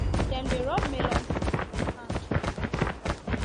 dem dey rub melon seed for hand to remove husk